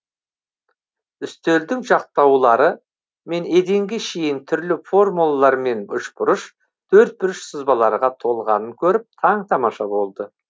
үстелдің жақтаулары мен еденге шейін түрлі формулалар мен үшбұрыш төртбұрыш сызбаларға толғанын көріп таң тамаша болды